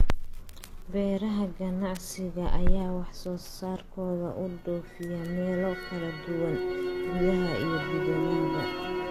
Beeraha ganacsiga ayaa wax soo saarkooda u dhoofiya meelo kala duwan, gudaha iyo dibaddaba.